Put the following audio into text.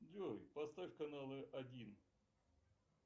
джой поставь каналы один